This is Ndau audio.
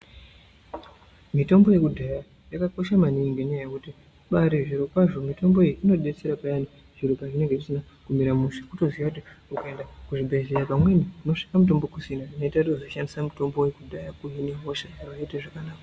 Mitombo yekudhaya yakakosha maningi ngenyaya yekuti ibari zvirokwazvo mitombo iyi inobaabetsera payani zviro pazvinenge zvisina kumira mushe kutoziya kuti ungaenda kuzvibhedhleya pamweni unosvika mutombo kusina zvinoita uzoshandisa mitombo yekudhaya kuhine hosha oite zvakanaka.